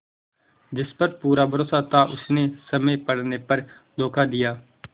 जिस पर पूरा भरोसा था उसने समय पड़ने पर धोखा दिया